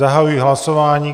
Zahajuji hlasování.